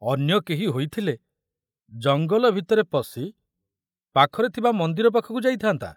ଅନ୍ୟ କେହି ହୋଇଥିଲେ ଜଙ୍ଗଲ ଭିତରେ ପଶି ପାଖରେ ଥିବା ମନ୍ଦିର ପାଖକୁ ଯାଇଥାନ୍ତା।